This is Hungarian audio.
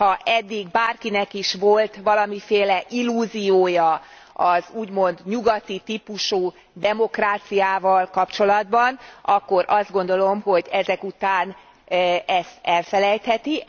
Ha eddig bárkinek is volt valamiféle illúziója az úgymond nyugati típusú demokráciával kapcsolatban, akkor azt gondolom, hogy ezek után ezt elfelejtheti.